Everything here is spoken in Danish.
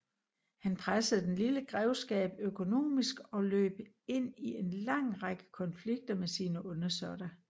Han pressede den lille grevskab økonomisk og løb ind i en lang række konflikter med sine undersåtter